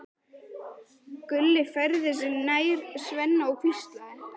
Gulli færði sig nær Svenna og hvíslaði